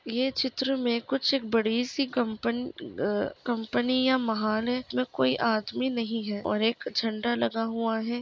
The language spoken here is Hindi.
यह चित्र में कुछ एक बड़ी सी कंपन अ कंपनियां महान है इसमें कोई आदमी नहीं है और एक झंडा लगा हुआ है।